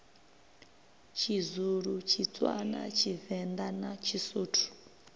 tshizulu tshitswana tshivenḓa na tshisuthu